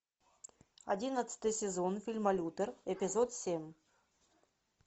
одиннадцатый сезон фильма лютер эпизод семь